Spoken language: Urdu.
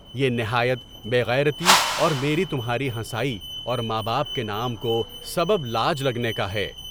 یہ نہایت بے غیرتی اور میری تمہاری ہنسائی اور ماں باپ کے نام کو سبب لاج لگنے کا ہے۔